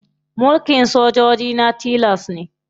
Mulkin sojoji na tilas ne.